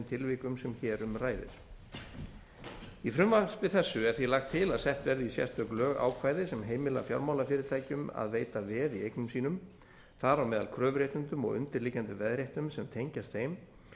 tilvikum sem hér um ræðir í frumvarpi þessu er því lagt til að sett verði í sérstök lög ákvæði sem heimila fjármálafyrirtækjum að veita veð í eignum sínum þar á meðal kröfuréttindum og undirliggjandi veðréttindum sem tengjast þeim